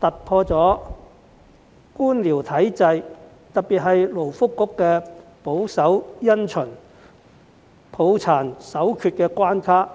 突破了官僚體制，特別是勞工及福利局保守因循、抱殘守缺的關卡。